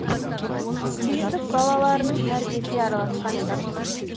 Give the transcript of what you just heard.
сүйіндік балаларының тәрбиесіне араласқан емес